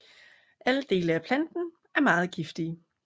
Alle dele af planten er meget giftige